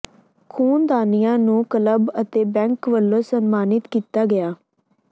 ਖੂਨਦਾਨੀਆਂ ਨੂੰ ਕਲੱਬ ਅਤੇ ਬੈਂਕ ਵੱਲੋਂ ਸਨਮਾਨਿਤ ਕੀਤਾ ਗਿਆ